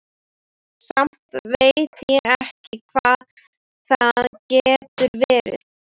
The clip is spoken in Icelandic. Samt veit ég ekki hvað það getur verið.